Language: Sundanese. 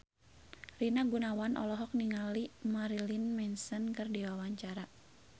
Rina Gunawan olohok ningali Marilyn Manson keur diwawancara